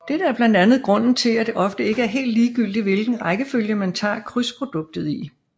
Dette er blandt andet grunden til at det ofte ikke er helt ligegyldigt hvilken rækkefølge man tager krydsproduktet i